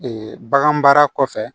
bagan baara kɔfɛ